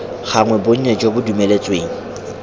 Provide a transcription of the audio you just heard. gagwe bonnye jo bo dumeletsweng